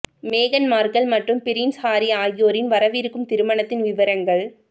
மேகன் மார்கல் மற்றும் Prince Harry ஆகியோரின் வரவிருக்கும் திருமணத்தின் விவரங்கள்